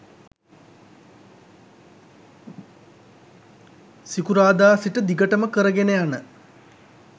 සිකුරාදා සිට දිගටම කර ගෙන යන